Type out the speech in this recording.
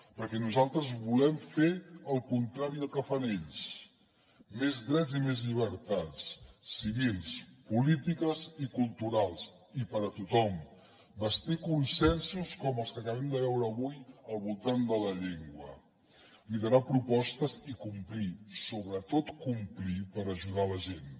perquè nosaltres volem fer el contrari del que fan ells més drets i més llibertats civils polítiques i culturals i per a tothom bastir consensos com els que acabem de veure avui al voltant de la llengua liderar propostes i complir sobretot complir per ajudar la gent